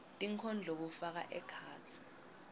tinkondlo kufaka ekhatsi